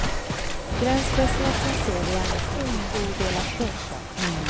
Gränslösheten ser vi gärna som något odelat fint.